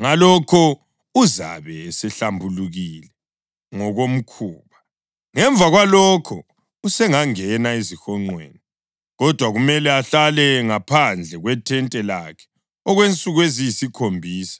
ngalokho uzabe esehlambulukile ngokomkhuba. Ngemva kwalokho usengangena ezihonqweni, kodwa kumele ahlale ngaphandle kwethente lakhe okwensuku eziyisikhombisa.